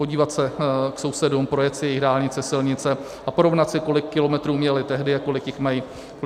Podívat se k sousedům, projet si jejich dálnice, silnice a porovnat si, kolik kilometrů měli tehdy a kolik jich mají dnes.